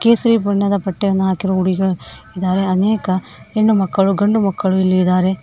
ಕೇಸರಿ ಬಣ್ಣದ ಬಟ್ಟೆಯನ್ನು ಹಾಕಿರುವ ಹುಡುಗಿಯರು ಇದ್ದಾರೆ ಅನೇಕ ಹೆಣ್ಣು ಮಕ್ಕಳು ಗಂಡು ಮಕ್ಕಳು ಇದ್ದಾರೆ.